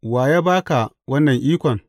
Wa ya ba ka wannan ikon?